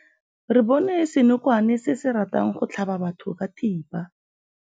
Re bone senokwane se se ratang go tlhaba batho ka thipa.